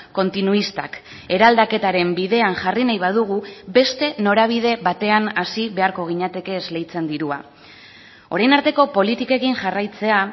kontinuistak eraldaketaren bidean jarri nahi badugu beste norabide batean hasi beharko ginateke esleitzen dirua orain arteko politikekin jarraitzea